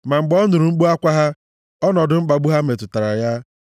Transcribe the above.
Ma mgbe ọ nụrụ mkpu akwa ha, ọnọdụ mkpagbu ha metụtara ya;